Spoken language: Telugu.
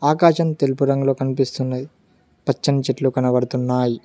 ఆకాశం తెలుపు రంగులో కనిపిస్తున్నది పచ్చని చెట్లు కనబడుతున్నాయ్.